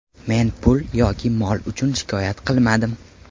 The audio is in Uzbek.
Men pul yoki mol uchun shikoyat qilmadim.